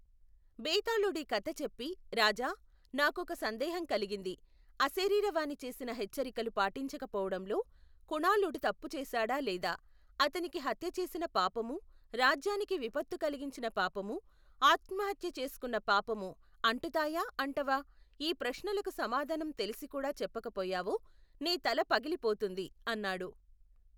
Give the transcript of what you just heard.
బేతాళుడీ కథ చెప్పి రాజా, నాకొక సందేహం కలిగింది, అశరీరవాణి చేసిన హెచ్చరికలు పాటించకపోవటంలో, కుణాళుడు తప్పు చేశాడా లేదా, అతనికి హత్య చేసిన పాపము, రాజ్యానికి విపత్తు కలిగించిన పాపము, ఆత్మహత్య చేసుకున్న పాపము అంటుతాయా అంటవా, ఈ ప్రశ్నలకు సమాధానం తెలిసికూడా చెప్పక పోయావో, నీ తల పగిలిపోతుంది, అన్నాడు.